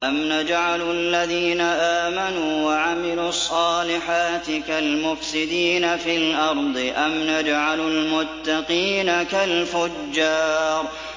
أَمْ نَجْعَلُ الَّذِينَ آمَنُوا وَعَمِلُوا الصَّالِحَاتِ كَالْمُفْسِدِينَ فِي الْأَرْضِ أَمْ نَجْعَلُ الْمُتَّقِينَ كَالْفُجَّارِ